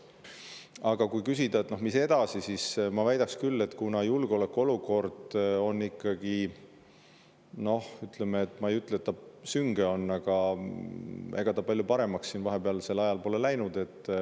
Aga kui küsida, mis edasi, siis ma väidaks küll, et julgeolekuolukord on ikkagi, noh, ma ei ütle, et ta sünge on, aga ega ta palju paremaks siin vahepealsel ajal pole läinud.